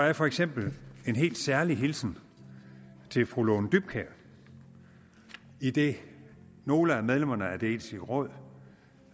er for eksempel en helt særlig hilsen til fru lone dybkjær idet nogle af medlemmerne af det etiske råd